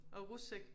Og rus ik